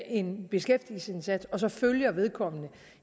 en beskæftigelsesindsats og så følger vedkommende